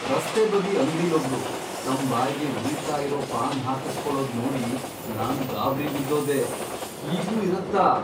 ರಸ್ತೆ ಬದಿ ಅಂಗ್ಡಿಲೊಬ್ರು ತಮ್ ಬಾಯ್ಗೆ ಉರಿತಾ ಇರೋ ಪಾನ್ ಹಾಕುಸ್ಕೊಳೋದ್ ನೋಡಿ ನಾನ್ ಗಾಬ್ರಿ ಬಿದ್ದೋದೆ.. ಹೀಗೂ ಇರತ್ತಾ?!